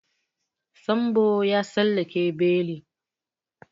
Sambo ya tsallake beli.